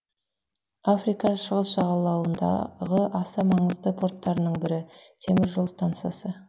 африканың шығыс жағалауындағы аса маңызды порттарының бірі темір жол стансасы